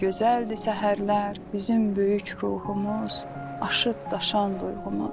Nə gözəldir səhərlər bizim böyük ruhumuz, aşıb-daşan duyğumuz.